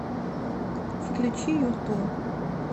включи юту